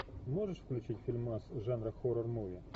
можешь включить фильмас жанра хоррор муви